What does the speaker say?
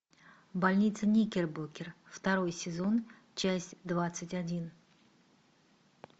больница никербокер второй сезон часть двадцать один